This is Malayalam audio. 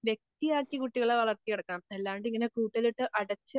വെടിയാക്കി കുട്ടികളെ വളർത്തിയെടുക്കണം അല്ലാണ്ട് ഇങ്ങനെ കൂട്ടിലിട്ട് അടച്ച്